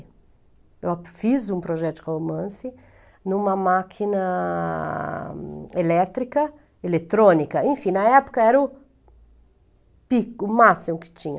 Eu fiz um projeto de romance em uma máquina elétrica, eletrônica, enfim, na época era o pico, o máximo que tinha.